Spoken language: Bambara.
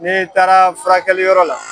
Ni taara furakɛliyɔrɔ la.